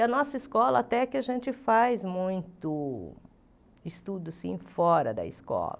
E a nossa escola, até que a gente faz muito estudo sim fora da escola.